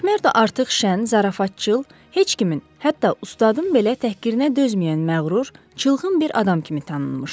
MakMerdo artıq şən, zarafatcıl, heç kimin, hətta ustadın belə təhqirinə dözməyən məğrur, çılğın bir adam kimi tanınmışdı.